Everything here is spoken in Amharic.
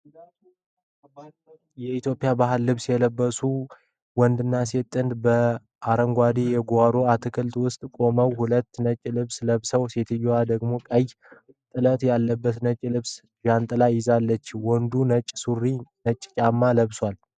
የኢትዮጵያ ባህላዊ ልብስ የለበሱ ወንድና ሴት ጥንድ በአረንጓዴ የጓሮ አትክልት ውስጥ ቆመው ሁለቱም ነጭ ልብስ ለብሰዋል፤ ሴትየዋ ደግሞ ቀይ ጥለት ያለበት ነጭ ልብስና ጃንጥላ ይዛለች። ወንዱ ነጭ ሱሪና ነጭ ጫማ ለብሷል።